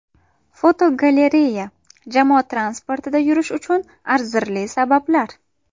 Fotogalereya: Jamoat transportida yurish uchun arzirli sabablar.